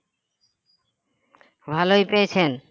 ভালই পেয়েছেন